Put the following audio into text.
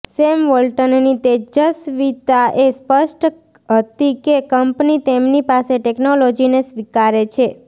same વોલ્ટનની તેજસ્વીતા એ સ્પષ્ટ હતી કે કંપની તેમની પાસે ટેકનોલોજીને સ્વીકારે છે